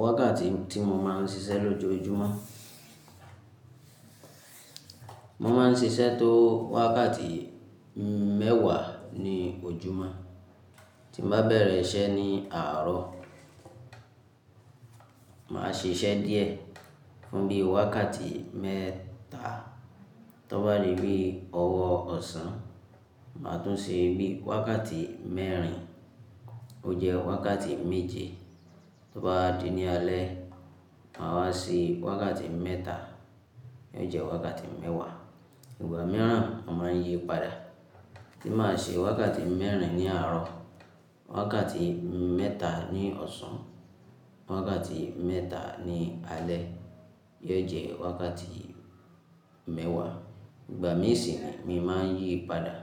Wákàtí tí mo máa ń ṣiṣẹ́ lójoojúmọ́. Mo máa ń ṣiṣẹ́ tó wákàtí mẹ́wàá ní ojúmọ́. Tí mo bá bẹ̀rẹ̀ iṣẹ́ ní àárọ̀, màá ṣe iṣẹ́ díẹ̀ fún bí i wákàtí mẹ́ta. Tó bá di bí ọwọ́ ọ̀sán, màá tún ṣe bí i wákàtí mẹ́rin, ó jẹ́ wákàtí méje. Tó bá di ní alẹ́, màá wá ṣe wákàtí mẹ́ta, eyó jẹ́ wákàtí mẹ́wàá. Ìgbà mìíràn mo máa ń yí padà. Tí màá ṣe wákàtí mẹ́rin ní àárọ̀, wákàtí mẹ́ta ní ọ̀sán, wákàtí mẹ́ta ní alẹ́, yó jẹ́ wákàtí mẹ́wàá. Ìgbà mìíràn sì ni mo máa ń yí padà.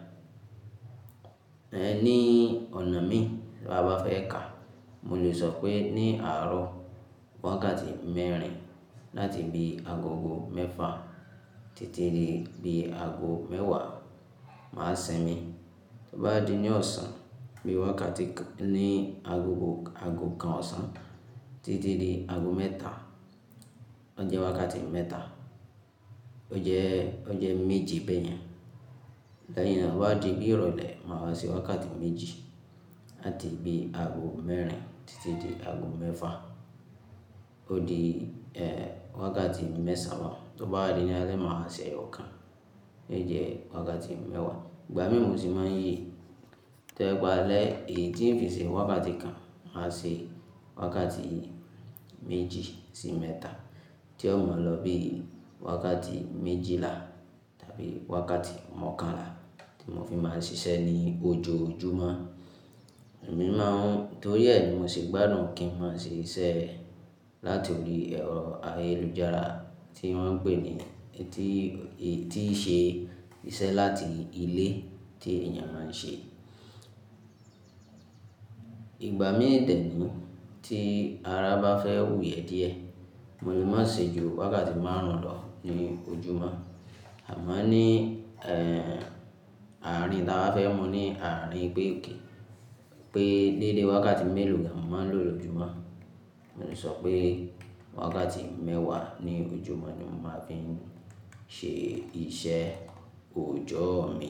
Ẹ ní ọ̀nà mi tí a bá fẹ́ kà, mo lè sọ pé ní àárọ̀ wákàtí mẹ́rin láti bí i agogo mẹ́fa títí di bí i ago mẹ́wàá, màá ṣe mí. Tó bá di ní ọ̀sán, bí i wákàtí ní agogo-- ago kan ọ̀sán títí di ago mẹ́ta, ó jẹ́ wákàtí mẹ́ta. Ó jẹ́, ó jẹ́ méje bẹ́ẹ̀ yẹn. Lẹ́yìn náà tó bá di bí i ìrọ̀lẹ́, màá wá ṣe wákàtí méjì láti bí i ago mẹ́rin títí di ago mẹ́fa, ó di, ẹ́, wákàtí mẹ́sàn án. Tó bá di ní alẹ́, màá ṣe eyo kan, yó jẹ́ wákàtí mẹ́wàá. Ìgbà mí mu sì máa ń yí. Tẹ́gbàá alẹ́ èyí tí kò ṣe wákàtí kan, màá ṣe wákàtí méjì sí mẹ́ta tí ó máa lọ bí i wákàtí méjìlá tàbí wákàtí mọ́kànlá tí mo fi máa ń ṣiṣẹ́ ní ojoojúmọ́. Èmi máa ń-- torí ẹ ni mo ṣe gbádùn kí n máa ṣe iṣẹ́ láti orí ero ayélujára tí wọ́n ń pè ní etí, etí i ṣe iṣẹ́ láti ilé tí ènìyàn máa ń ṣe. Ìgbà míi de ní tí ara bá fẹ́ wù yẹ díẹ̀, mo lè máa ṣe ju wákàtí márùn ún lọ ní ojúmọ́. A moo ní, ẹ́, àárín tí a bá fẹ́ mú ní àárín pé ok, pé deédé wákàtí mélòó ni a máa ń lò lójúmọ́. Mo lè sọ pé wákàtí mẹ́wàá ní ojúmọ́ ni mo máa fi ń ṣe iṣẹ́ oòjọ́ mi.